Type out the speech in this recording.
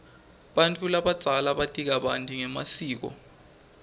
bantfu labadzala bati kabanti ngemasiko